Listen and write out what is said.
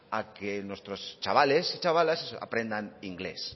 a que nuestros chavales y chavalas aprendan inglés